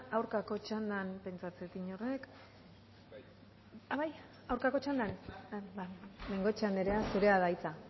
aurkako txandan pentsatzen dut inork bai aurkako txandan bengoechea anderea zurea da hitza